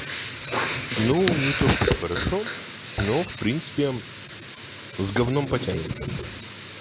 ну не то чтобы хорошо но в принципе с гавном потянет